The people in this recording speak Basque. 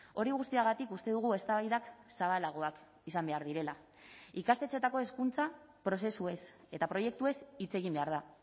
hori guztiagatik uste dugu eztabaidak zabalagoak izan behar direla ikastetxeetako hezkuntza prozesuez eta proiektuez hitz egin behar da